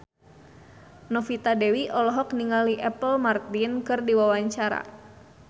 Novita Dewi olohok ningali Apple Martin keur diwawancara